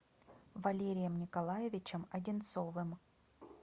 валерием николаевичем одинцовым